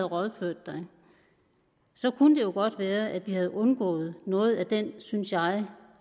rådført sig kunne det jo godt være at vi havde undgået noget af den synes jeg